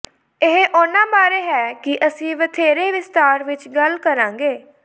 ਇਹ ਉਨ੍ਹਾਂ ਬਾਰੇ ਹੈ ਕਿ ਅਸੀਂ ਵਧੇਰੇ ਵਿਸਤਾਰ ਵਿੱਚ ਗੱਲ ਕਰਾਂਗੇ